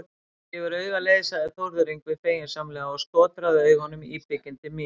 Það gefur auga leið, sagði Þórður Yngvi feginsamlega og skotraði augunum íbygginn til mín.